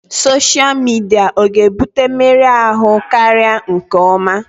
Sọsha midia ọ ga-ebute mmerụ ahụ karịa nke ọma?